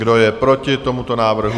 Kdo je proti tomuto návrhu?